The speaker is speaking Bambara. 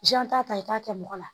t'a ta i k'a kɛ mɔgɔ la